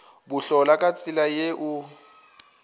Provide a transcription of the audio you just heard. bohlola ka tsela ye o